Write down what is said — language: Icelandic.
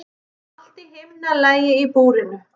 Allt í himnalagi í búrinu.